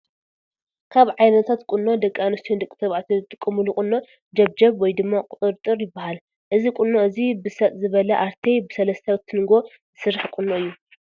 ካን ዓይነታት ቁኖ ደቂ ኣንስትዮን ደቂ ተባዕትዮን ዝጥቀምሉ ቁኖ ጀብጀብ ወይ ድማ ቁጥርጥር ይበሃል። እዚ ቁኖ እዚ ብሰጥ ዝበለ አርቴ ብሰለስተ ትንጎ ዝራሕ ቁኖ እዩ።